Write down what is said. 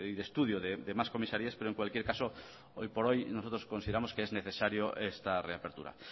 de estudio de más comisarías pero en cualquier caso hoy por hoy nosotros consideramos que es necesario esta reapertura